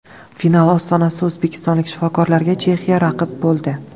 Final ostonasida o‘zbekistonlik shifokorlarga Chexiya raqib bo‘ldi.